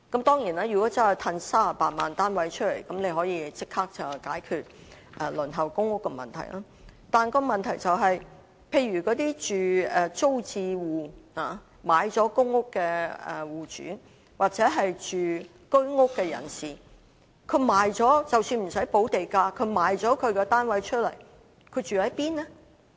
當然，如果真的可以釋放38萬個單位出來，便可以立即解決輪候公屋的問題，但問題是那些在租置計劃下購買了公屋的戶主或居屋住戶，即使不用補地價，但賣掉房屋後可以住在哪裏？